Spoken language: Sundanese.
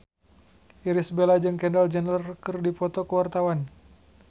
Irish Bella jeung Kendall Jenner keur dipoto ku wartawan